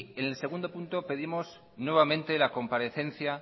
en el segundo punto pedimos nuevamente la comparecencia